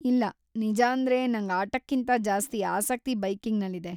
ಇಲ್ಲಾ, ನಿಜಾಂದ್ರೆ ನಂಗ್ ಆಟಕ್ಕಿಂತ ಜಾಸ್ತಿ ಆಸಕ್ತಿ ಬೈಕಿಂಗ್‌ನಲ್ಲಿದೆ.